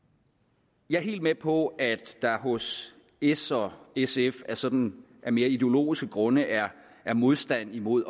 jeg er helt med på at der hos s og sf af sådan mere ideologiske grunde er er modstand imod